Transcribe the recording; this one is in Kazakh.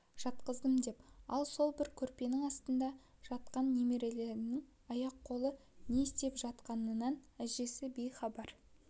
жатқыздым деп ал сол бір көрпенің астында жатқан немерелерінің аяқ-қолы не істеп жатқанынан әжесі бейхабар